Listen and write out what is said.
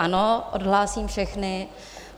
Ano, odhlásím všechny.